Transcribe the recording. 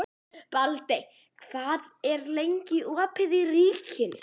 Baldey, hvað er lengi opið í Ríkinu?